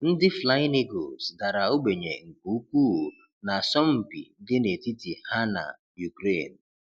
Ndị Flying Eagles dara ogbenye nke ukwuu na asọmpi dị n'etiti ha na Ukraine